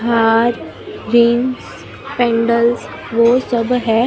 हार rings pendants वो सब है दो--